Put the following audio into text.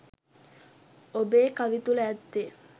ඔබේ කවි තුළ ඇත්තේ